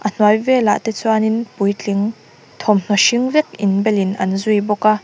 a hnuai velah te chuanin puitling thawmhnaw hring vek inbelin an zui bawk a.